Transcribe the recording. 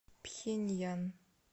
пхеньян